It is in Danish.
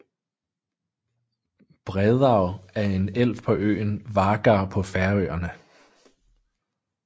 Breiðá er en elv på øen Vágar på Færøerne